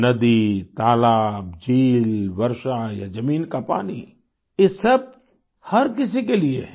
नदी तालाब झील वर्षा या जमीन का पानी ये सब हर किसी के लिये हैं